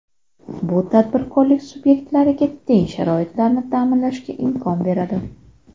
Bu tadbirkorlik subyektlariga teng sharoitlarni ta’minlashga imkon beradi.